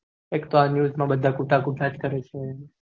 expressnews માં બધા કુતા કૂત થાય છે